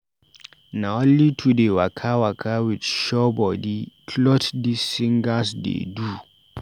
Na only to dey waka waka with show-bodi clot dis singers dey do.